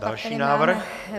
Další návrh.